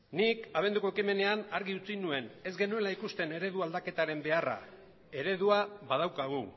nik abenduko ekimenean argi utzi nuen ez genuela ikusten eredu aldaketaren beharra eredua badaukagu